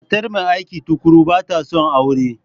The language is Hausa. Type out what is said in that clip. Matar mai aiki tuƙuru ba ta son aure.